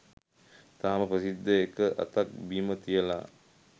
තාම ප්‍රසිද්ධියේ එක අතක් බිම තියලා